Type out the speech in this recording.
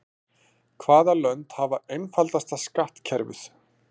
Hvaða lönd hafa einfaldasta skattkerfið?